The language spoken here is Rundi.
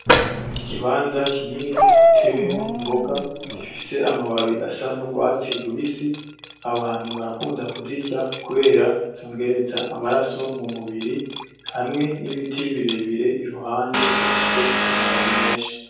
Ikibanza kinini gitewemwo imboga zifise amababi asa n’urwatsi rubisi, abantu barakunda kuzirya kubera zongereza amaraso mu mubiri, hamwe n’ibiti birebire ku ruhande bifise amababi menshi.